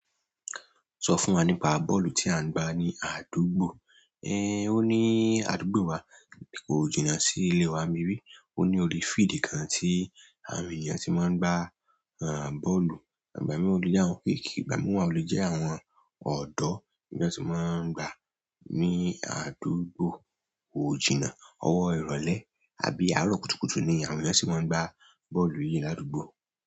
Sọ fún wa nípa bọ́ọ̀lù tí à ń gbá ní àdúgbò. Ẹ, ó ní àdúgbò wa ni kò jìnnà sí ilé wa. Mi rí, ó ní orí field kan tí àwọn ènìyàn tí máa ń gbá, ẹ, bọ́ọ̀lù. Ìgbà mìíràn o le jẹ́ àwọn kékèké, ìgbà mìíràn o le jẹ́ àwọn ọ̀dọ́ tí wọ́n ti máa ń gbá ní àdúgbò kò jìnnà. Ọwọ́ ìrọ̀lẹ́ àbí àárọ̀ kùtùkùtù ni àwọn ènìyàn tí máa ń gbá bọ́ọ̀lù yíì ládùúgbò.